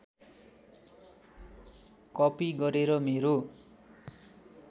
copy गरेर मेरो